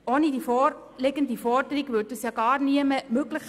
Ohne die vorliegende Forderung wäre das ja gar nie möglich.